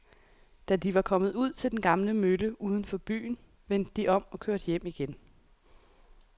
Da de var kommet ud til den gamle mølle uden for byen, vendte de om og kørte hjem igen.